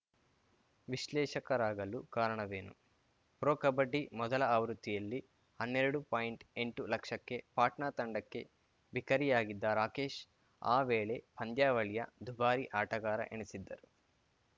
ವಿಶ್ಲೇಷಕರಾಗಲು ಕಾರಣವೇನು ಪ್ರೊ ಕಬಡ್ಡಿ ಮೊದಲ ಆವೃತ್ತಿಯಲ್ಲಿ ಹನ್ನೆರಡು ಪಾಯಿಂಟ್ಎಂಟು ಲಕ್ಷಕ್ಕೆ ಪಾಟ್ನಾ ತಂಡಕ್ಕೆ ಬಿಕರಿಯಾಗಿದ್ದ ರಾಕೇಶ್‌ ಆ ವೇಳೆ ಪಂದ್ಯಾವಳಿಯ ದುಬಾರಿ ಆಟಗಾರ ಎನಿಸಿದ್ದರು